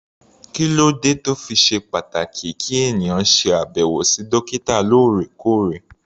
Kí ló dé tó fi ṣe pàtàkì kí ènìyàn ṣe àbẹ̀wò sí dókítà lóòrèkóòrè?